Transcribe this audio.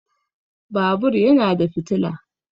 Babur yana da fitila